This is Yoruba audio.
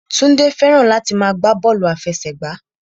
Túndé fẹ́ràn láti máa gbá bọ́ọ̀lù àfẹsẹ̀gbá